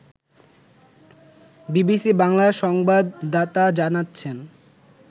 BBC বাংলার সংবাদদাতা জানাচ্ছেন